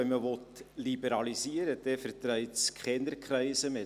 Wenn man liberalisieren will, verträgt es keine Kreise mehr.